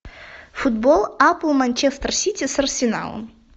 футбол апл манчестер сити с арсеналом